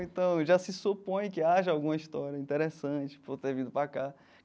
Então, já se supõe que haja alguma história interessante por ter vindo para cá.